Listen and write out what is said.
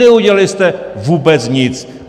Neudělali jste vůbec nic.